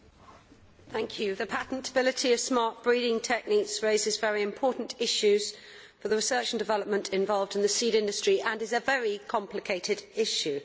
Mr President, the patentability of smart breeding techniques raises very important issues for the research and development involved in the seed industry, and is a very complicated issue.